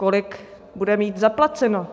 Kolik bude mít zaplaceno?